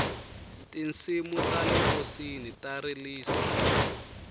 tinsimu tale nkosini ta rilisa